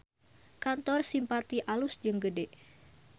Kantor Simpati alus jeung gede